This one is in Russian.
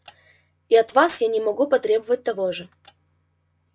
и от вас я не могу потребовать того же